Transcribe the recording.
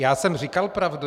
Já jsem říkal pravdu.